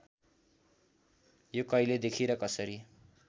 यो कहिलेदेखि र कसरी